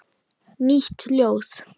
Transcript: Nýtt ljóð.